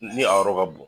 Ni a yɔrɔ ka bon